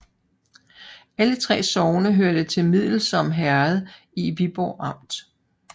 Alle 3 sogne hørte til Middelsom Herred i Viborg Amt